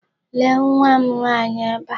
Lee nwa m nwaanyị ebe a.